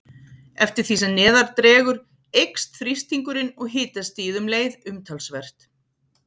Eftir því sem neðar dregur eykst þrýstingurinn og hitastigið um leið umtalsvert.